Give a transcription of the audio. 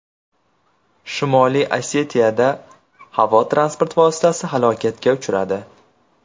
Shimoliy Osetiyada havo transport vositasi halokatga uchradi.